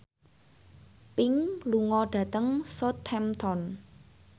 Pink lunga dhateng Southampton